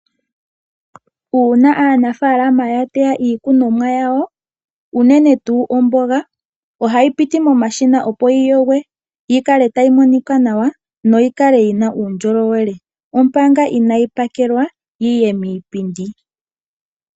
Uuna aanafaalama ya teya iikunomwa yawo unene tuu omboga ohayi piti momashina, opo yi yogwe yi kale tayi monika nawa noyi kale yi na uundjolowele, omanga inaayi pakelwa yi ye miipindi.